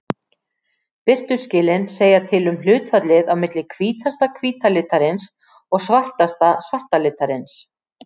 Birtuskilin segja til um hlutfallið á milli hvítasta hvíta litarins og svartasta svarta litarins.